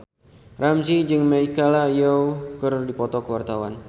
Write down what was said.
Ramzy jeung Michelle Yeoh keur dipoto ku wartawan